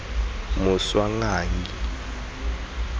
moswanganyi